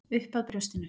Upp að brjóstinu.